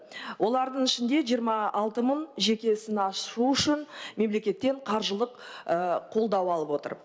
олардың ішінде жиырма алты мың жеке ісін ашу үшін мемлекеттен қаржылық қолдау алып отыр